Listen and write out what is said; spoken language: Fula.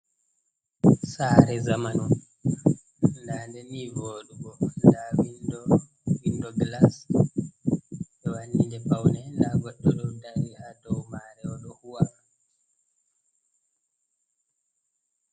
Sare zamano dadeni vodugo da windo glas, be wanni de paune da goddo dodari ha dow mare odo huwa.